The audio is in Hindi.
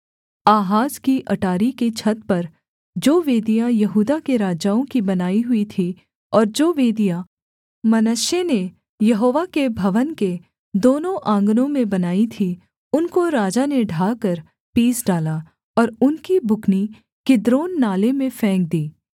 आहाज की अटारी की छत पर जो वेदियाँ यहूदा के राजाओं की बनाई हुई थीं और जो वेदियाँ मनश्शे ने यहोवा के भवन के दोनों आँगनों में बनाई थीं उनको राजा ने ढाकर पीस डाला और उनकी बुकनी किद्रोन नाले में फेंक दी